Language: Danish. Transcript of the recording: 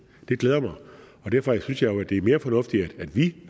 det glæder mig derfor synes jeg jo at det er fornuftigt at vi